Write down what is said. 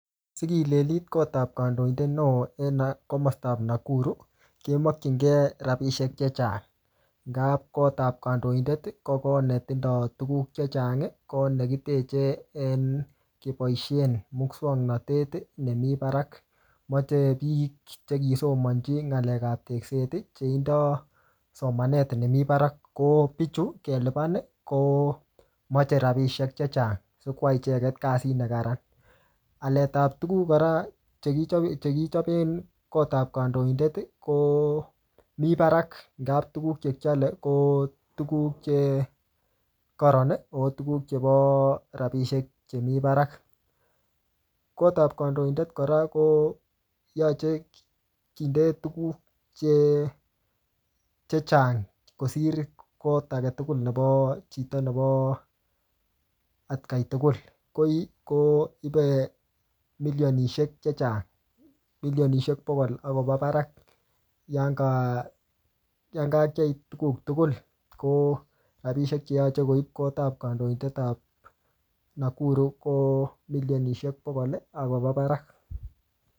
Sikilelit kot ap kandoidet neoo en no komastap Nakuru, kemachinkei rabisiek chechang. Ngap kot ap kandoidet, ko kot ne tindoi tuguk chechang, ko nekiteche keboisien muswoknotet ne mii barak. Mache biik che kisomanchi ng'alek ap tekset, che indoi somanet nemii barak. Ko pichu, kelipan, komache rabisiek chechang, sikwai icheket kasit ne kararan. Alet ap tuguk kora, che kichape- che kichape kot ap kandoindet, ko mii barak ngaa tuguk che kiale, ko tuguk che kararan, ako tuguk chebo rabisiek chemii barak. Kot ap kandoindet kora, koyache kinde tuguk che-chechang kosir kot age tugul nebo chito nebo atkai tugul. Koi, koipe milionishek chechang. Milionishek bokol akoba barak. Yan ka kakiai tuguk tugul, ko rabisiek che yache koip kot ap kandoindet ap Nakuru, ko milionishek bokol, akoba barak.